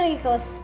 ekki góð